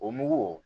O mugu